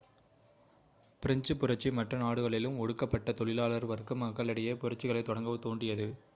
பிரெஞ்சுப் புரட்சி மற்ற நாடுகளிலும் ஒடுக்கப்பட்ட தொழிலாளர் வர்க்க மக்களிடையே புரட்சிகளைத் தொடங்க தூண்டியது